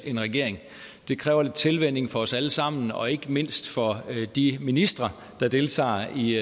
en regering det kræver lidt tilvænning for os alle sammen og ikke mindst for de ministre der deltager i